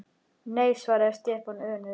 Nei svaraði Stefán önugur.